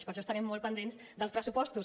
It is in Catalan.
per això estarem molt pendents dels pressupostos